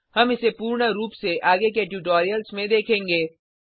हम इसे पूर्ण रूप से आगे के ट्यूटोरियल्स में देखेंगे